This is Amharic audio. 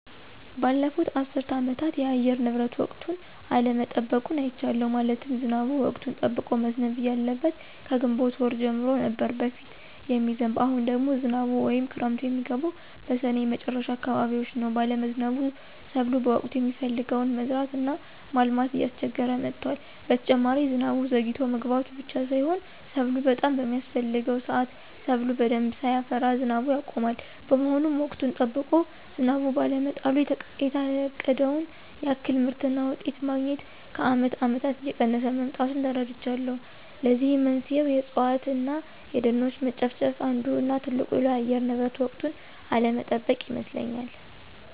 ባለፉት አስር አመታት የአየር ንብረቱ ወቅቱን አለመጠበቁን አይቻለሁ። ማለትም ዝናቡ ወቅቱን ጠብቆ መዝነብ እያለበት ከግንቦት ወር ጀምሮ ነበር በፊት የሚዝንብ አሁን ደግሞ ዝናቡ ወይም ክረምቱ የሚገባው በስኔ መጨረሻ አካባቢዎች ነው ባለመዝነቡ ሰብሎ በወቅቱ የሚፈለገውን መዝራት እና ማልማት እያስቸገረ መጥቷል። በተጨማሪ ዝናቡ ዘግይቶ መግባቱ ብቻ ሳይሆን ሰብሉ በጣም በሚያስፍሕገው ስአት ሰብሉ በደንብ ሳያፈራ ዝናቡ ያቆማል። በመሆኑም ወቅቱን ጠብቆ ዝናብ ባለመጣሉ የታቀደውን ያክል ምርትና ውጤት ማግኞት ከአመት አመታት እየቀነሰ መምጣቱን ተረድቻለሁ። ለዚህም መንስኤው የእፅዋት እነ የደኖች መጨፍጨፍ አንዱ እነ ትልቁ ለአየር ንብረት ወቅቱን አለመጠበቅ ይመስለኞል።